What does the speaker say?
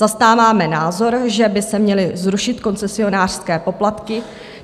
Zastáváme názor, že by se měly zrušit koncesionářské poplatky.